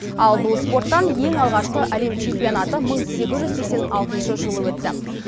ал бұл спорттан ең алғашқы әлем чемпионаты мың сегіз жүз сексен алтыншы жылы өтті